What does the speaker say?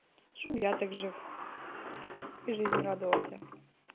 чем я так жив и жизни радовался